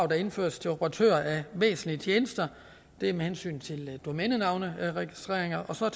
indføres til operatører af væsentlige tjenester det er med hensyn til domænenavnsregistrering og så er